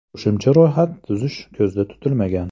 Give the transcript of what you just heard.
Qo‘shimcha ro‘yxat tuzish ko‘zda tutilmagan.